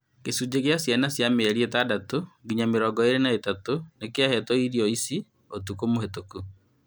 Gĩcunjĩ kĩa ciana cia mĩeri ĩtandatũ nginya mĩrongo ĩĩrĩ na ĩtatũ nĩkĩahetwo irio ici ũtukũ mũhetũku